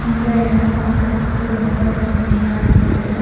இந்த எடம் பாக்கறதுக்கு ரொம்ப பசுமையா இருக்கு.